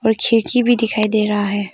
खिड़की भी दिखाई दे रहा है।